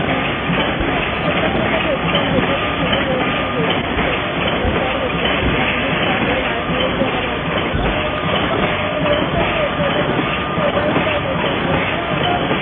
अं artist आता एकत्र तर भेटत नाही हल्ली होत नाही झालं तर होतं कुठल्या निमित्ताने वाढ दिवस वगैरे असू दे तर पण जेव्हा कधी होत तेव्हा आम्ही मोबाईल वर मेसेज वर केव्हा असं